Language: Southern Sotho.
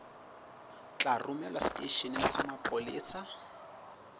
tla romelwa seteisheneng sa mapolesa